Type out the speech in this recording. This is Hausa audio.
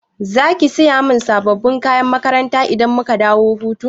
Zaki Siya sabon kayan makaranta idan muka dawo hutu?